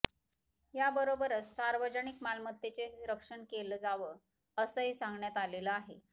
याबरोबरच सार्वजनिक मालमत्तेचं रक्षण केलं जावं असंही सांगण्यात आलेलं आहे